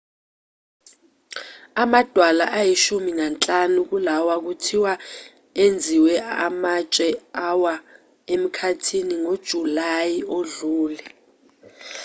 amadwala ayishumi nanhlanu kulawa kuthiwa enziwe amatshe awa emkhathini ngojulayi odlule